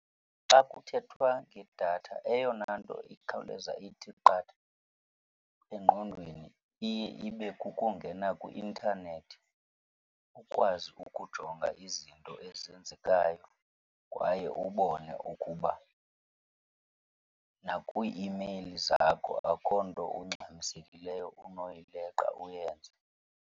Xa kuthethwa ngedath,a eyona nto ikhawuleza ithi qatha engqondweni iye ibe kukungena kwi-intanethi ukwazi ukujonga izinto ezenzekayo kwaye ubone ukuba nakwii-imeyili zakho akho nto ungxamisekileyo unoyileqa uyenze.